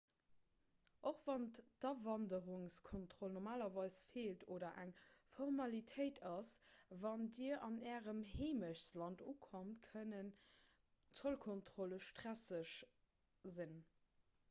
och wann d'awanderungskontroll normalerweis feelt oder eng formalitéit ass wann dir an ärem heemechtsland ukommt kënnen zollkontrolle stresseg sinn